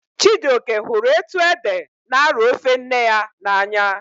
Chijioke hụrụ etu ede n'arọ ofe nne ya n'anya